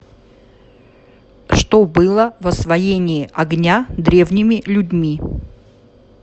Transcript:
что было в освоение огня древними людьми